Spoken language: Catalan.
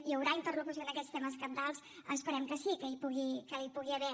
hi haurà interlocució en aquests temes cabdals esperem que sí que n’hi pugui haver